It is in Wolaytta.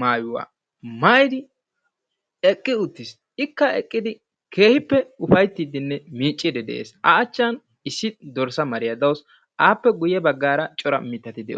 maayyuwaa maayyidi eqqi uttiis. Ikka eqqidi keehippe upayttidinne miiccide de'es. A achchan issi dorssa mariya dawus, appe guyye baggaara cora mittati de'ees